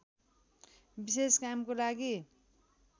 विशेष कामको लागि